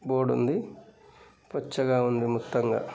board ఉంది పచ్చ గ ఉంది మొత్తం గ--